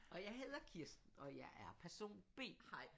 Og jeg hedder Kirsten og jeg er person B